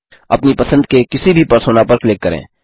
अपनी पसंद के किसी भी परसोना पर क्लिक करें